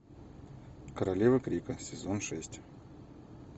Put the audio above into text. королевы крика сезон шесть